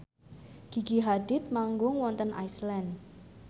Gigi Hadid manggung wonten Iceland